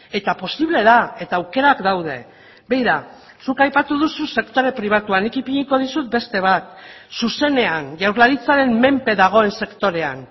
eta posible da eta aukerak daude begira zuk aipatu duzu sektore pribatua nik ipiniko dizut beste bat zuzenean jaurlaritzaren menpe dagoen sektorean